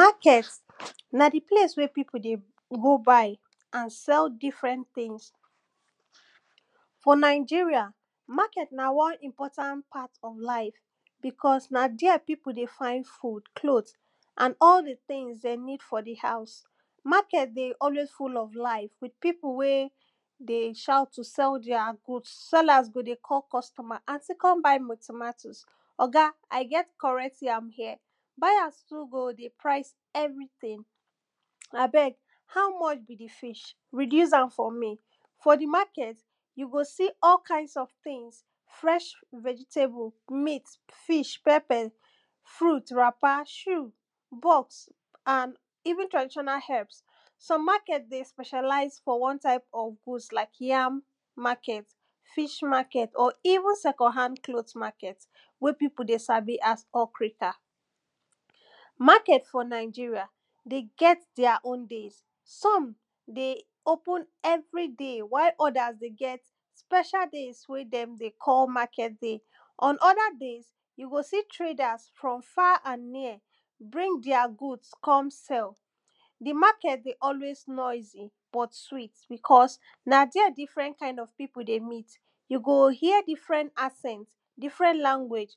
market na di place wey pipu dey go buy and sell different tin for nigeria, market na won important part of life bicos na there pipu dey find food, cloth and all di tins den need for di haus. market dey always full of life with pipu wey dey shout to sell their goods sellers go dey call customer aunty kon buy my tomatoes oga, i get correct yam here, buyers too go dey price everytin abeg how much be di fish reduce am for me. for di market, you go see all kinds of tins fresh vegetable, meat, fish, pepper, fruit, wrapper, shoe goat and even traditional herbs some market dey specialize on one type of goods like yam, market, fish market or even second hand cloth market wey pipu dey sabi as okrika. market for nigeria dey get their own days. som dey open everyday while others dey get special days wey dem dey call market days on other days, you go see traders from far and near, bring their goods come sell, di market dey always dey noisy but sweet bicos na there different kind of pipu dey meet you go hear different accent, different language